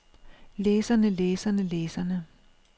læserne læserne læserne